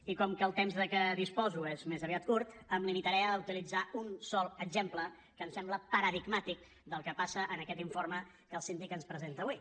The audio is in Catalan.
i com que el temps de què disposo és més aviat curt em limitaré a utilitzar un sol exemple que em sembla paradigmàtic del que passa en aquest informe que el síndic ens presenta avui